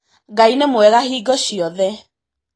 Ngai nĩ mwega hingo ciothe.